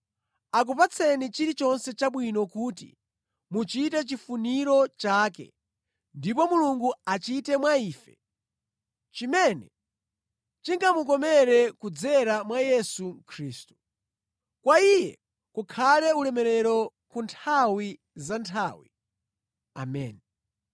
akupatseni chilichonse chabwino kuti muchite chifuniro chake ndipo Mulungu achite mwa ife, chimene chingamukomere kudzera mwa Yesu Khristu. Kwa Iye kukhale ulemerero ku nthawi zanthawi, Ameni.